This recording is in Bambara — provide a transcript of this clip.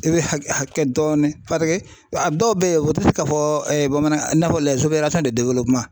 I bɛ hakɛ hakɛ dɔɔnin a dɔw bɛ yen u tɛ se ka fɔ bamanankan na